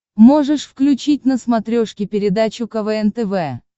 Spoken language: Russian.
можешь включить на смотрешке передачу квн тв